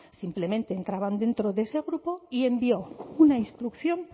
simplemente entraban dentro de este grupo y envió una instrucción